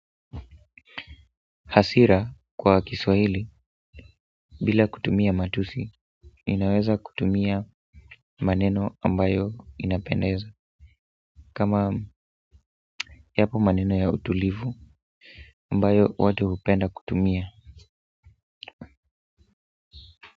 Hasira kwa kiswahili bila kutumia matusi inaweza kutumia maneno ambayo inapendeza kama yapo maneno ya utulivu ambayo watu hupenda kutumia.